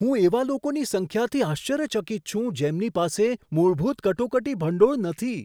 હું એવા લોકોની સંખ્યાથી આશ્ચર્યચકિત છું જેમની પાસે મૂળભૂત કટોકટી ભંડોળ નથી.